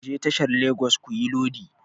Ku je tashar Legas kuyi lodi!